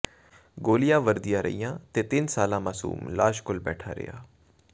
ਗੋਲੀਆਂ ਵਰ੍ਹਦੀਆਂ ਰਹੀਆਂ ਤੇ ਤਿੰਨ ਸਾਲਾ ਮਾਸੂਮ ਲਾਸ਼ ਕੋਲ ਬੈਠਾ ਰਿਹਾ